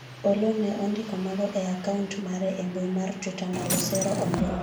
Oloo ne ondiko mago e akaunt mare e mbui mar twitter ndalo sero ombulu